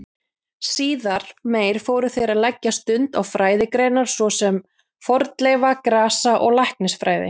Síðar meir fóru þeir að leggja stund á fræðigreinar svo sem fornleifa-, grasa- og læknisfræði.